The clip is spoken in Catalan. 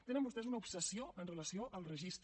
tenen vostès una obsessió amb relació al registre